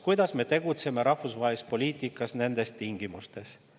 Kuidas me tegutseme rahvusvahelises poliitikas nendes tingimustes?